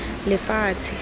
lefatshe